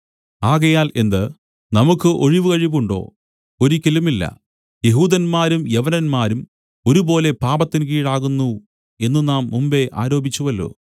ആകയാൽ എന്ത് നമുക്കു ഒഴിവുകഴിവുണ്ടോ ഒരിക്കലുമില്ല യെഹൂദന്മാരും യവനന്മാരും ഒരുപോലെ പാപത്തിൻ കീഴാകുന്നു എന്നു നാം മുമ്പെ ആരോപിച്ചുവല്ലോ